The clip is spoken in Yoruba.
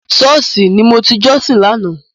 Sọ́ọ̀ṣì ni mo ti jọ́sìn lánàá.